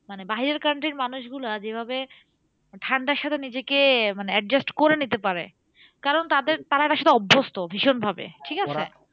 মানে বাহিরের country র মানুষ গুলা যেভাবে ঠান্ডার সাথে নিজেকে মানে adjust করে নিতে পারে কারণ তাদের তারা না সেটা অভ্যস্ত ভীষণভাবে, ঠিকাছে?